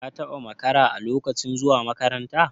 ka taba makara a lokacin zuwa makaranta?